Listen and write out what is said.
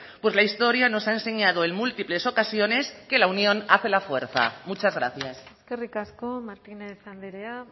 pues la historia nos ha enseñado en múltiples ocasiones que la unión hace la fuerza muchas gracias eskerrik asko martínez andrea